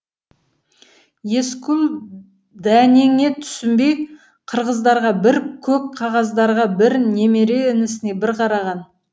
есқұл дәнеңе түсінбей қырғыздарға бір көк қағаздарға бір немере інісіне бір қараған